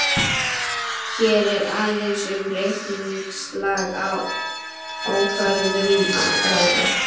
Hér er aðeins um reikningslega ákvörðun að ræða.